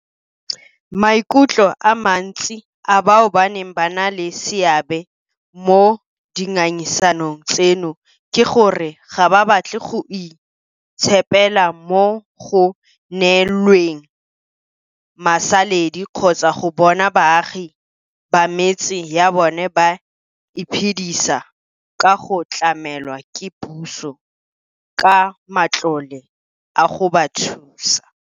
Maikutlo a mantsi a bao baneng ba na le seabe mo dingangisanong tseno ke gore ga ba batle go itshepela mo go neelweng masaledi kgotsa go bona baagi ba metse ya bona ba iphedisa ka go tlamelwa ke puso ka matlole a go ba thusa.